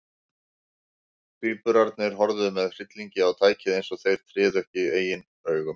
Tvíburarnir horfðu með hryllingi á tækið, eins og þeir tryðu ekki sínum eigin augum.